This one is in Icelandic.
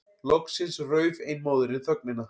Loksins rauf ein móðirin þögnina.